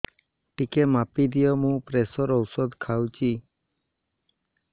ଟିକେ ମାପିଦିଅ ମୁଁ ପ୍ରେସର ଔଷଧ ଖାଉଚି